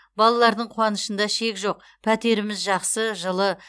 балалардың қуанышында шек жоқ пәтеріміз жақсы жылы